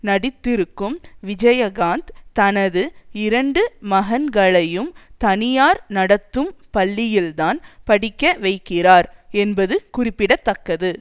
நடித்திருக்கும் விஜயகாந்த் தனது இரண்டு மகன்களையும் தனியார் நடத்தும் பள்ளியில்தான் படிக்கவைக்கிறார் என்பது குறிப்பிட தக்கது